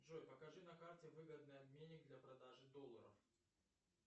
джой покажи на карте выгодный обменник для продажи долларов